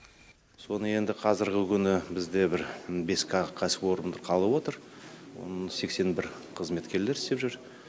соны енді қазіргі күні бізде бір бес кәсіпорынды қалып отыр сексен бір қызметкерлер істеп жүр